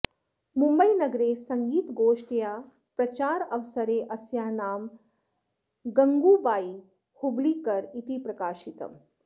मुम्बैनगरे सङ्गीतगोष्ट्याः प्रचारावसरे अस्याः नाम गङ्गूबायी हुब्ळीकर् इति प्रकाशितम्